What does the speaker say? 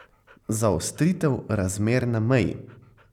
Zaostritev razmer na meji.